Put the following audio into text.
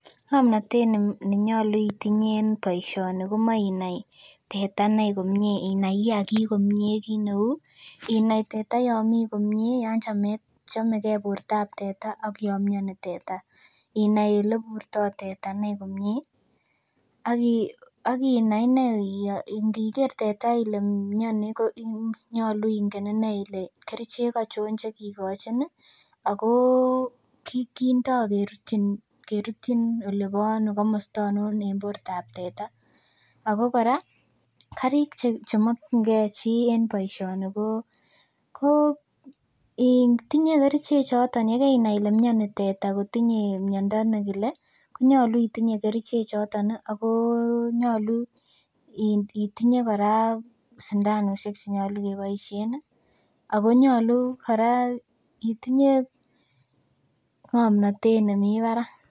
Ng'omnotet nenyolu itinye en boisioni komoe inai teta inei komie inai kiagik komie kit neu, inai teta yan mi komie yan chametab chomegee bortab teta ak yan mioni teta, inai eleburtoo teta inei komie ak inai inei iniker teta ile mioni konyolu ingen inei ile kerichek ochon chekikochin ih ako kindoo kerutyin olebo ano komosta oinon en bortab teta ako kora karik chemokyingee chii en boisioni ko in tinye kerichek choton yekeinai ile mioni teta kotinye miondo nekile konyolu itinye kerichek choton ako nyolu itinye kora sindanusiek chenyolu keboisien ih akonyolu kora itinye ng'omnotet nemii barak